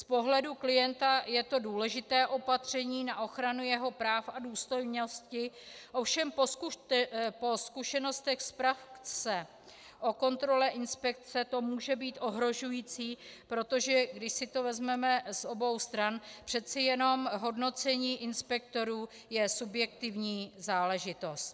Z pohledu klienta je to důležité opatření na ochranu jeho práv a důstojnosti, ovšem po zkušenostech z praxe o kontrole inspekce to může být ohrožující, protože když si to vezmeme z obou stran, přece jenom hodnocení inspektorů je subjektivní záležitost.